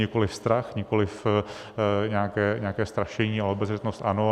Nikoliv strach, nikoliv nějaké strašení, ale obezřetnost ano.